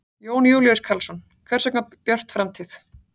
Jón Júlíus Karlsson: Hvers vegna Björt framtíð?